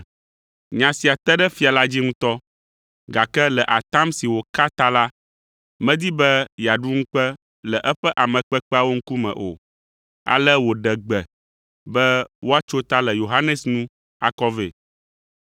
Nya sia te ɖe fia la dzi ŋutɔ, gake le atam si wòka ta la, medi be yeaɖu ŋukpe le eƒe ame kpekpeawo ŋkume o, ale wòɖe gbe be woatso ta le Yohanes nu akɔ vɛ.